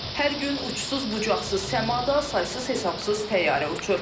Hər gün uçsuz-bucaqsız səmada saysız-hesabsız təyyarə uçur.